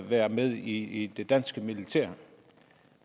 være med i det danske militær